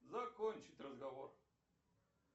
закончить разговор